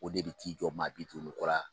O de bɛ t'i jɔ maa bi duuru ni kɔ la.